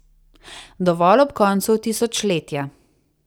Dovolj ob koncu tisočletja.